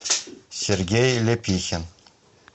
сергей ляпихин